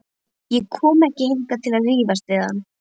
Ég kom ekki hingað til að rífast við hann.